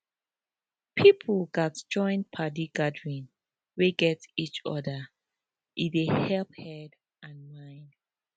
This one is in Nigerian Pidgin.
people gatz join padi gathering wey gat each other e dey helep head and mind